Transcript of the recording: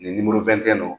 Nin nimoro fɛn tɛ n na